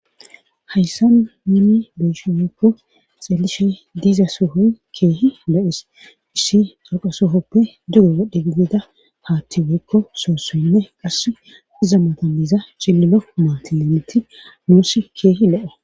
hayssan nuni be'eshe woykko xeelishey diiza soohoy keehi lo'eis issi dhoqa sohoppe dugo wodhe gidida haatti weykko soossoinne qass iza matappe cillilo maatilemiti nussi keehi lo'o